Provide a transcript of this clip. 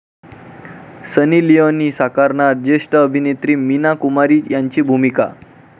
सनी Leone साकारणार ज्येष्ठ अभिनेत्री मीना कुमारी यांची भूमिका?